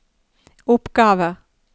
oppgaver